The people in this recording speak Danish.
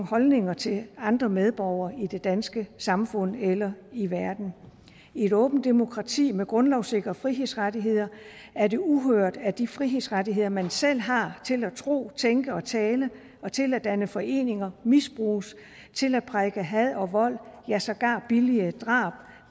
holdninger til andre medborgere i det danske samfund eller i verden i et åbent demokrati med grundlovssikrede frihedsrettigheder er det uhørt at de frihedsrettigheder man selv har til at tro og tænke og tale og til at danne foreninger misbruges til at prædike had og vold ja sågar billige drab